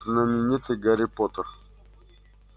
знаменитый гарри поттер